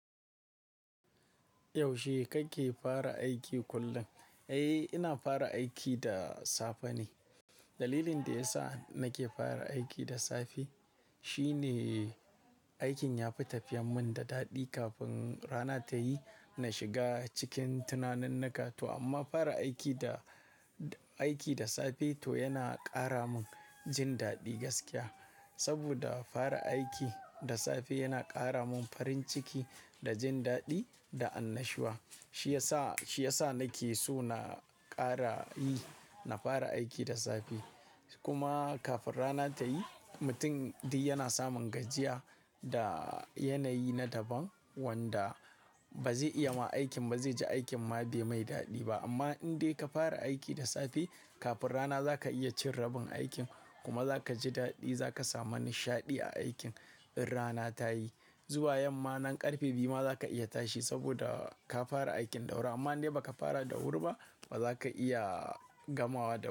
Yaushe kake fara aiki kullum? Eh, ina fara aiki da safe ne. Dalilin da ya sa nake fara aiki da safe shine aikin ya fi tafiyar mun da daɗi kafin rana ta yi. Na shiga cikin tunanin na ƙato amma fara aiki da, aiki da safe to yana ƙara mun jin daɗi gaskiya. Saboda fara aiki da safe yana ƙara mun farin ciki da jin daɗi da annashuwa. Shi ya sa, shi ya sa nake so na ƙara yi, na fara aiki da safe. Kuma kafin rana ta yi, mutum dai yana samun gajiya da yanayi na daban wanda ba zai iya ma aikin, ba zai ji aikin ma bai mai daɗi ba. Amma in dai ka fara aiki da safe kafin rana za ka iya cin rabin aikin kuma za ka ji daɗi. Za ka samu nishaɗi a aikin in rana ta yi. Zuwa yamma nan ƙarfe biyu ma za ka iya tashi saboda ka fara aikin da wuri amma in dai ba ka fara da wuri ba ba za ka iya gamawa da.